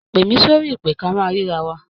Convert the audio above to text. Pè mí sórí ìpè-ká-máa-ríra-wa